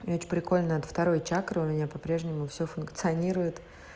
ведь прикольно от второй чакры у меня по-прежнему всё функционирует